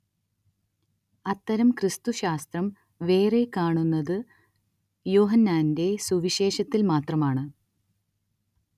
അത്തരം ക്രിസ്തുശാസ്ത്രം വേറെ കാണുന്നത് യോഹന്നാന്റെ സുവിശേഷത്തിൽ മാത്രമാണ്